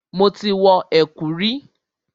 Mo ti wọ ẹ̀kú rí.